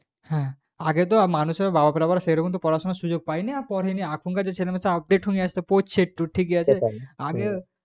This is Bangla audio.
আগে তো বাবারা পড়াশোনার সুযোগ তো পাইনি আর পড়েনি এখন generation update হয়ে আসছে এবং পড়ছে আর সেটাই